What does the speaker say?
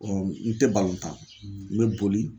n tɛ n bɛ boli.